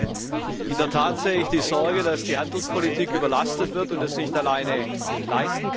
In der Tat sehe ich die Sorge, dass die Handelspolitik überlastet wird und es nicht alleine leisten kann.